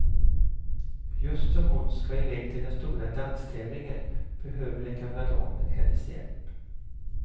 Just som hon ska iväg till den stora danstävlingen behöver den gamla damen hennes hjälp.